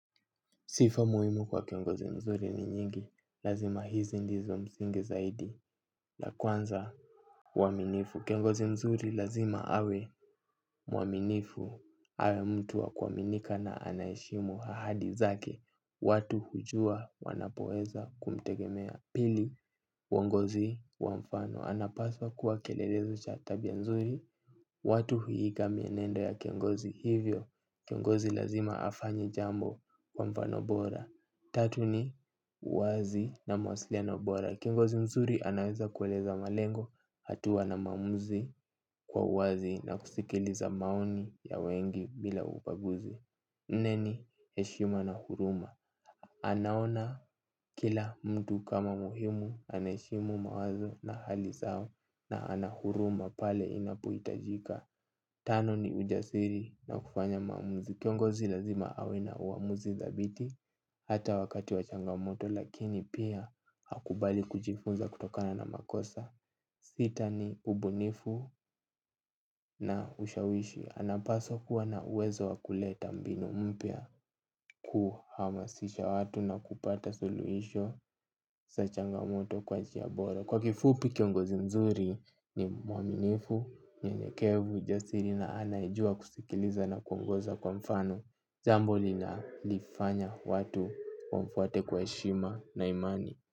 Sifa muhimu kwa kiongozi mzuri ni nyingi, lazima hizi ndizo msingi zaidi, la kwanza uaminifu, kiongozi mzuri lazima awe mwaminifu, awe mtu wa kuaminika na anaeshimu hahadi zake, watu hujua wanapoeza kumtegemea. Pili, uongozi wa mfano, anapaswa kuwa kielelezo cha tabia nzuri, watu huiiga mienendo ya kiongozi hivyo, kiongozi lazima afanye jambo kwa mfano bora. Tatu ni, uwazi na mwasiliano bora, kiongozi mzuri anaweza kueleza malengo, hatuwa na maamuzi kwa uwazi na kusikiliza maoni ya wengi bila ubaguzi. Ne ni heshima na huruma? Anaona kila mtu kama muhimu anaeshimu mawazo na hali zao na ana huruma pale inapohitajika. Tano ni ujasiri na kufanya maamuzi. Kiongozi lazima awe na uamuzi thabiti hata wakati wa changamoto lakini pia hakubali kujifunza kutokana na makosa. Sita ni ubunifu na ushawishi. Anapaswa kuwa na uwezo wa kuleta mbinu mpya. Kuhamasisha watu na kupata suluhisho sa changamoto kwa jia bora. Kwa kifupi kiongozi mzuri ni mwaminifu nyenyekevu jasiri na anayejua kusikiliza na kuongoza kwa mfano jambo linalifanya watu wamfuate kwa heshima na imani.